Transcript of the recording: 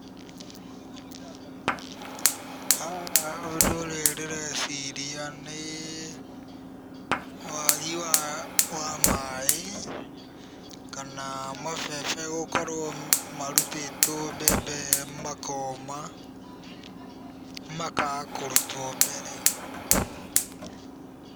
Haha ũndũ ũrĩa ndĩreciria nĩ wagi wa maĩ kana mabebe gũkorwo marutĩtwo mbembe makoma, makaga kũrutwo mbere.